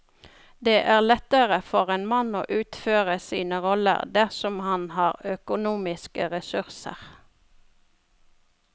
Det er lettere for en mann å utføre sine roller dersom han har økonomiske ressurser.